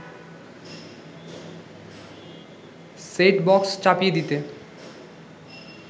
set box চাপিয়ে দিতে